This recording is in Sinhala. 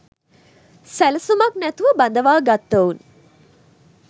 සැලසුමක් නැතිව බඳවා ගත්තවුන්